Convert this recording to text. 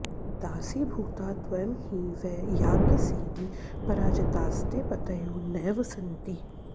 दासीभूता त्वं हि वै याज्ञसेनि पराजितास्ते पतयो नैव सन्ति